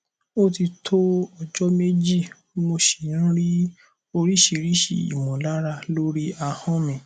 ó ti tó ọjọ méjì mo sì ń ní oríṣiríṣi ìmọlára lórí ahọn mi